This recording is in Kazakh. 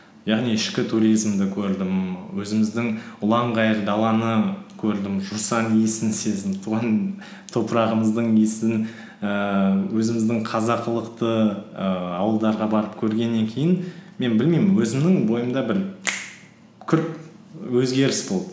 яғни ішкі туризмді көрдім өзіміздің ұланғайыр даланы көрдім жусан иісін сездім туған топырағымыздың иісінің ііі өзіміздің қазақылықты ііі ауылдарға барып көргеннен кейін мен білмеймін өзімнің бойымда бір күрт өзгеріс болды